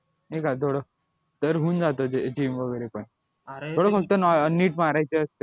नाय का थोडं तर होऊन जातं ते gym वगैरे पण फक्त नीट मारायची असते